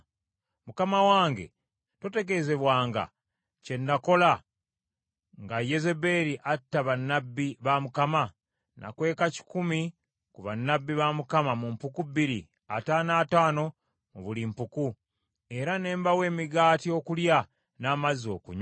Mukama wange totegeezebwanga, kye nakola nga Yezeberi atta bannabbi ba Mukama ? Nakweka kikumi ku bannabbi ba Mukama mu mpuku bbiri, ataano ataano mu buli mpuku, era ne mbawa emigaati okulya n’amazzi okunywa.